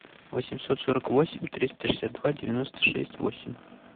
восемьсот сорок восемь триста шестьдесят два девяносто шесть восемь